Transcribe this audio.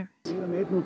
ég er með einn úr